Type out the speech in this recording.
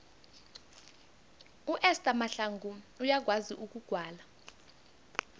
uester mahlangu uyakwazi ukugwala